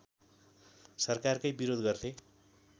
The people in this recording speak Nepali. सरकारकै विरोध गर्थे